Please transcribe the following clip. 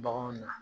Baganw na